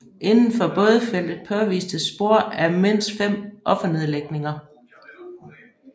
Indenfor bådfeltet påvistes spor af mindst fem offernedlægninger